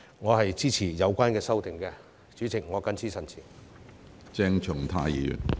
我支持有關修正案，主席，我謹此陳辭。